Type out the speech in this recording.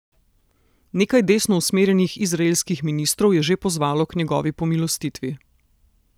Nekaj desno usmerjenih izraelskih ministrov je že pozvalo k njegovi pomilostitvi.